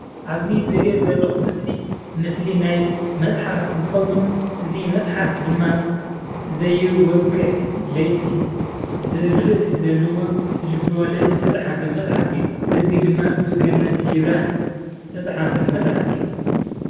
ኣብዚ ዝሪኦ ዘለኹ ምስሊ ምስሊ ናይ መፅሓፍ እንትኸዉን እዚ መፅሓፍ ድማ ዘይወግሕ ለይቲ ዝብል ርእሲ ዘለዎ ልበ ወለድ ዝተፅሓፈ መፅሓፍ እዩ። እዚ ድማ ብገነት ይብራህ ዝተፅሓፈ መፅሓፍ እዩ።